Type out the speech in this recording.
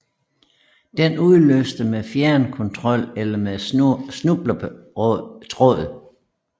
Den udløses med fjernkontrol eller med snubletråd